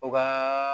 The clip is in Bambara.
U ka